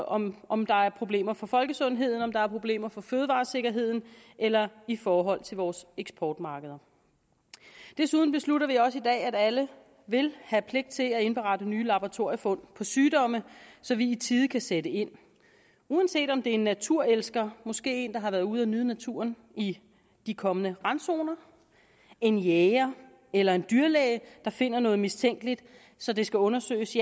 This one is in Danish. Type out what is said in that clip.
om om der er problemer for folkesundheden om der er problemer for fødevaresikkerheden eller i forhold til vores eksportmarkeder desuden beslutter vi også i dag at alle vil have pligt til at indberette nye laboratoriefund for sygdomme så vi i tide kan sætte ind uanset om det er en naturelsker måske en der har været ude at nyde naturen i de kommende randzoner en jæger eller en dyrlæge der finder noget mistænkeligt så det skal undersøges